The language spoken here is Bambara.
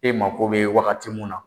E mako bɛ wagati mun na.